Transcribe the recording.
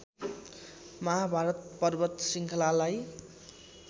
महाभारत पर्वत श्रृङ्खलालाई